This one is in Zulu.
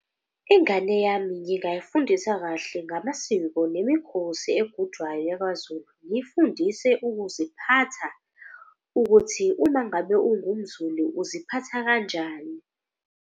Ingane yami ngingayifundisa kahle ngamasiko nemikhosi egujwayo yakwaZulu. Ngiyifundise ukuziphatha ukuthi uma ngabe ungumZulu uziphatha kanjani.